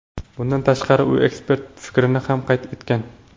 Bundan tashqari u ekspertlar fikrini ham qayd etgan.